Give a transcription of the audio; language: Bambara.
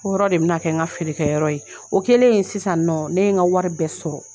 O yɔrɔ de bɛ na kɛ n ka feere kɛ yɔrɔ ye o kɛlen sisan nɔ ne ye n ka wari bɛɛ sɔrɔ.